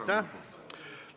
Aitäh!